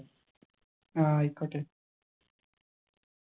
ആയിക്കോട്ടെ